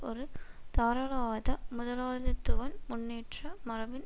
ஒரு தாராளவாத முதலாளித்துவன் முன்னேற்ற மரபின்